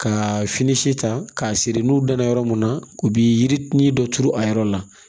Ka fini si ta k'a siri n'u danna yɔrɔ mun na u bi yiri dɔ turu a yɔrɔ la